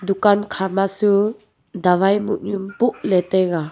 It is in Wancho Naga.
kam khama chu dawai moh nu boh jao taga.